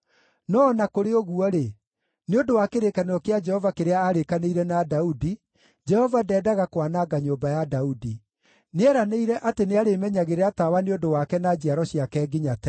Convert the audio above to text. No o na kũrĩ ũguo-rĩ, nĩ ũndũ wa kĩrĩkanĩro kĩa Jehova kĩrĩa aarĩkanĩire na Daudi, Jehova ndeendaga kwananga nyũmba ya Daudi. Nĩeranĩire atĩ nĩarĩmenyagĩrĩra tawa nĩ ũndũ wake na njiaro ciake nginya tene.